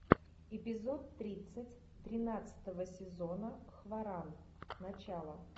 эпизод тридцать тринадцатого сезона хваран начало